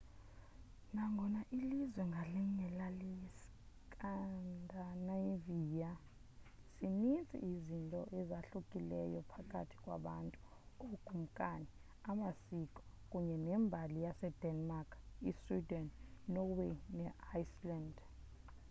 nangona ilizwe ngalinye lali scandinavia' zininzi izinto ezahlukileyo phakathi kwabantu ookumkani amasiko kunye nembali yasedenmark isweden inorway neiceland